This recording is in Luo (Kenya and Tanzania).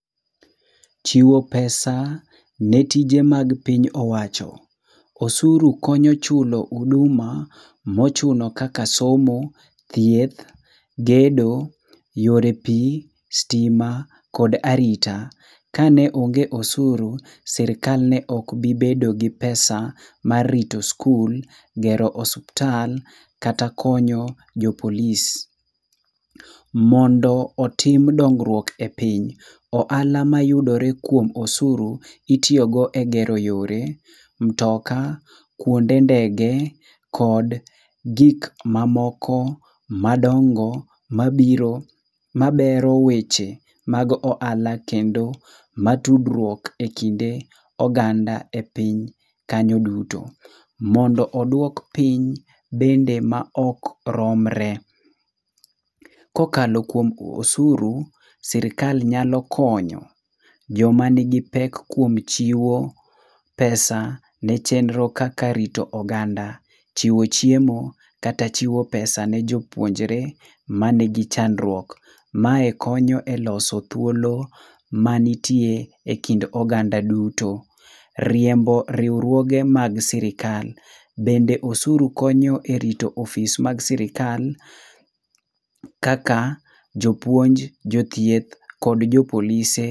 Chiwo pesa ne tije mag piny owacho. Osuru konyo chulo uduma mochuno kaka somo, thieth, gedo, yore pii, stima kod arita. Kane onge osuru, sirkal ne okbibedo gi pesa mar rito skul, gero osuptal kata konyo jopolis. Mondo otim dongrwuok e piny, o ala mayudore kuom osuru itiogo e gero yore mtoka, kwonde ndege, kod gik mamoko madongo mabiro mabero weche mag o ala kendo matudrwuok e kinde oganda e piny kanyo duto. Mondo oduok piny bende ma okromre. Kokalo kuom osuru sirkal nyalo konyo joma nigi pek kuom chiwo pesa ne chenro kaka rito oganda, chiwo chiemo kata chiwo pesa ne jopuonjre manigi chandruok. Mae konyo e loso thuolo manitie e kind oganda duto. Riembo riwruoge mag sirkal. Bende osuru konyo e rito ofis mag sirkal kaka jopuonj, jothieth, jopolise.